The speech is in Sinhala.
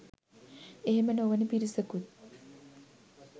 එහෙම නොවන පිරිසකුත්